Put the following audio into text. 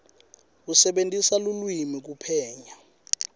kusebentisa lulwimi kuphenya